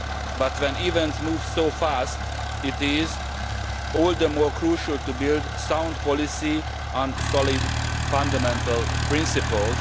But when events move so fast, it is all the more crucial to build sound policy on solid fundamental principles.